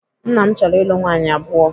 Nna m chọrọ ịlụ nwaanyị abụọ.